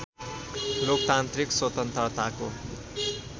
लोकतान्त्रिक स्वतन्त्रताको